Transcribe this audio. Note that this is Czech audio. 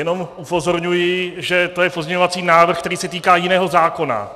Jenom upozorňuji, že je to pozměňovací návrh, který se týká jiného zákona.